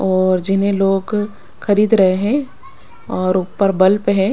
और जिन्हें लोग खरीद रहे हैं और ऊपर बल्ब है।